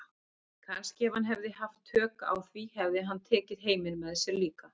Kannski ef hann hefði haft tök á því hefði hann tekið heiminn með sér líka.